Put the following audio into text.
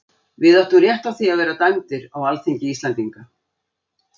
Við áttum rétt á því að vera dæmdir á alþingi Íslendinga.